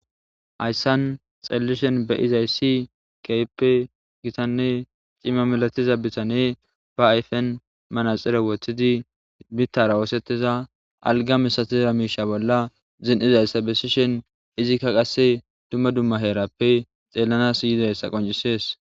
hayssan xallishen be izayssi keyppe gitanne cimma milatiza bitane ba ayfen manaxere woththidi bittara woosettiza alga misatiza miisha bolla zin7izayssa bessishen izikka qasse dumma dumma heerappe xeellanas yizayssa qoncisees